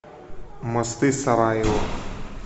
мосты сараево